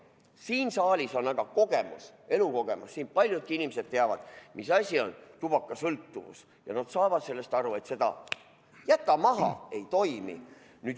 Siin saalis on aga kogemus, elukogemus, siin paljud inimesed teavad, mis asi on tubakasõltuvus, ja nad saavad aru, et "Jäta maha!" ei toimi.